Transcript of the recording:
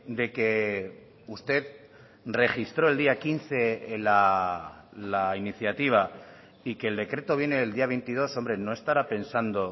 de que usted registró el día quince la iniciativa y que el decreto viene del día veintidós hombre no estará pensando